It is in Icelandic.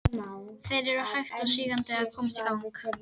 Þeir eru hægt og sígandi að komast í gang.